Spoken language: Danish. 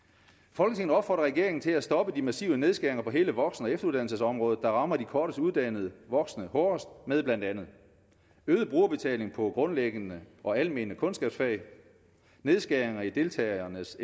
folketinget opfordrer regeringen til at stoppe de massive nedskæringer på hele voksen og efteruddannelsesområdet der rammer de kortest uddannede voksne hårdest med blandt andet øget brugerbetaling på grundlæggende og almene kundskabsfag nedskæringer i deltagernes